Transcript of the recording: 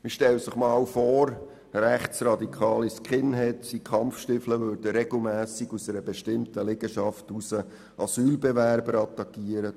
Man stelle sich einmal vor, rechtsradikale Skinheads in Kampfstiefeln würden regelmässig aus einer bestimmten Liegenschaft heraus Asylbewerber attackieren.